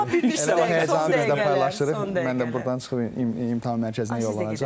Yəni bu həyəcanı biz də sizinlə paylaşıram, mən də burdan çıxıb imtahan mərkəzinə yollanacam.